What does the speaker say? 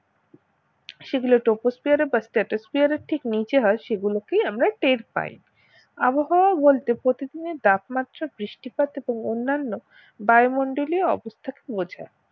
সেগুলো troposphere stratosphere এর ঠিক নিচে হয় সেগুলোকেই আমরা টের পাই আবহাওয়া বলতে প্রতিদিনের তাপমাত্রা বৃষ্টিপাত এবং অন্যান্য বায়ুমণ্ডলীয় অবস্থা